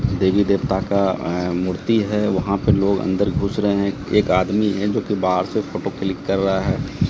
देवी देवता का अह मूर्ति है वहां पे लोग अंदर घुस रहे हैं एक आदमी है जो कि बाहर से फोटो क्लिक कर रहा है।